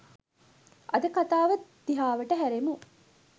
අද කතාව දිහාවට හැරෙමු